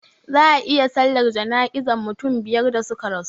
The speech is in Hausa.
Za a yi sallar jana'izan mutum biyar da suka rasu,